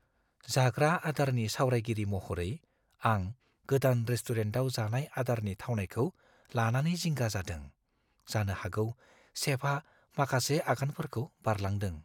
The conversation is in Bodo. जाग्रा आदारनि सावरायगिरि महरै, आं गोदान रेस्टुरेन्टआव जानाय आदारनि थावनायखौ लानानै जिंगा जादों। जानो हागौ चेफआ माखासे आगानफोरखौ बारलांदों।